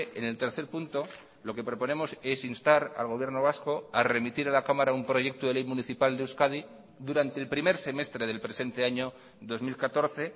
en el tercer punto lo que proponemos es instar al gobierno vasco a remitir a la cámara un proyecto de ley municipal de euskadi durante el primer semestre del presente año dos mil catorce